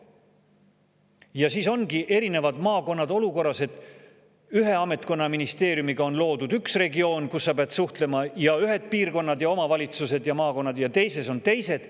Ja siis ongi erinevad maakonnad olukorras, kus ühe ametkonna, ministeeriumiga on loodud üks regioon, kus sa pead suhtlema, ja ühed piirkonnad ja omavalitsused ja maakonnad, ja teises on teised.